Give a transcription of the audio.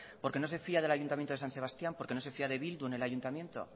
porque no se fía del ayuntamiento de san sebastián porque no se fía de bildu en el ayuntamiento